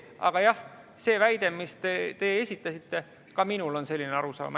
Aga jah, see väide, mis te esitasite – ka minul on selline arusaam.